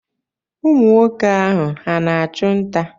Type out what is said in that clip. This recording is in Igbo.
Ụmụ nwoke ahụ, ha na-achụ nta?